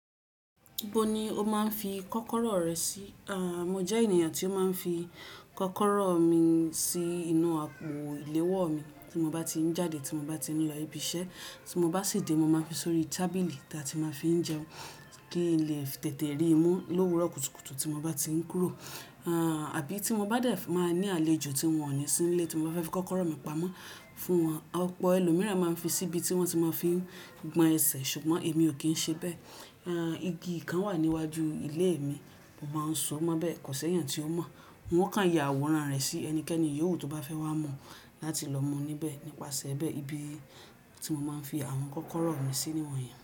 Ibo ni o máa ń fi kọ́kọ́rọ́ rẹ sí? Aà mọ jẹ́ ènìyàn tí ó máa ń fi kọ́kọ́rọ́ mi sí inú àpò ìléwọ́ mi tí mo bá ti ń jáde tí mo bá ti ń lọ ibi iṣẹ́. Tí mo bá sì dé, mo máa fi sórí tábìlì tí a ti máa fi ń jẹun kí n lè tètè ríi mú lówùrọ̀ kútùkùtù tí mo bá ti ń kúrò. Àbí tí mo bá dẹ̀ máa ní àlejò tí ohùn ò ní sí nílé tí mo bá fẹ́ fi kọ́kọ́rọ́ mi pamọ́ fún wọn. Ọ̀pọ̀ ẹlòmíràn máa ń fi síbi tí wọ́n ti máa fi ń gbọn ẹsẹ̀ ṣùgbọ́n èmi ò kí ń ṣe bẹ́ẹ̀. Igi kan wà níwájú ilé mi, mo máa ń so mó bẹ́ẹ̀, kò sẹ́yàn tí ó mọ̀. Wọ́n kàn ya àwòrán rẹ̀ sí ẹnikẹ́ni yìówù tó bá fẹ́ wá mọ̀ láti lọ mú níbẹ̀ nípasẹ̀ bẹ́ẹ̀ ibi tí mo máa ń fi àwọn kọ́kọ́rọ́ mi sí níwọ̀nyí.